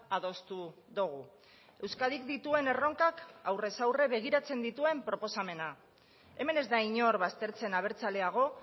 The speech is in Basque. adostu dugu euskadik dituen erronkak aurrez aurre begiratzen dituen proposamena hemen ez da inor baztertzen abertzaleago